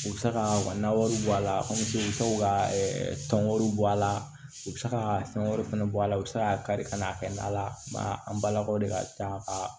U bɛ se ka u ka nawaaw bɔ a la u bɛ to ka tɔn wɛrɛw bɔ a la u bɛ se ka fɛn wɛrɛw fana bɔ a la u bɛ se k'a kari ka n'a kɛ na la ba an balakaw de ka ca ka